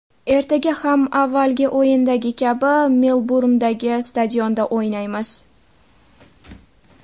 Ertaga ham avvalgi o‘yindagi kabi Melburndagi stadionda o‘ynaymiz.